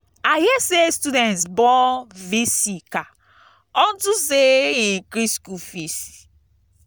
i hear say students burn v.c. car unto say he increase school fees.